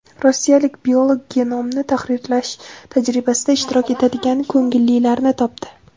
Rossiyalik biolog genomni tahrirlash tajribasida ishtirok etadigan ko‘ngillilarni topdi.